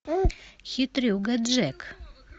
хитрюга джек